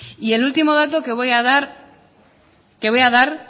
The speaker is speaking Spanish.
y el último dato que voy a dar